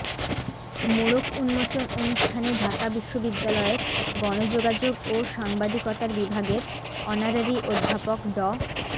মোড়ক উন্মোচন অনুষ্ঠানে ঢাকা বিশ্ববিদ্যালয়ের গণযোগাযোগ ও সাংবাদিকতার বিভাগের অনারারি অধ্যাপক ড